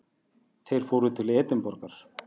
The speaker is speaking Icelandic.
Þeir fóru til Edinborgar.